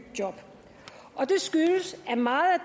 job og det skyldes at meget